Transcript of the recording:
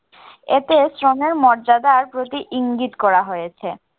এতে শ্রমের মর্যাদার প্রতি ইঙ্গিত করা হয়েছে।